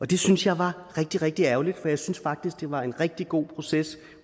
det synes jeg var rigtig rigtig ærgerligt for jeg synes faktisk at det var en rigtig god proces